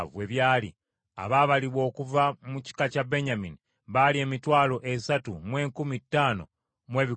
Abaabalibwa okuva mu kika kya Benyamini baali emitwalo esatu mu enkumi ttaano mu ebikumi bina (35,400).